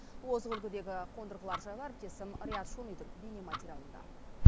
озық үлгідегі қондырғылар жайлы әріптесім риат шонидың бейнематериалында